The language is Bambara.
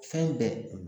Fɛn bɛɛ